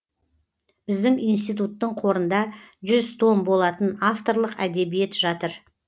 біздің институттың қорында жүз том болатын авторлық әдебиет жатыр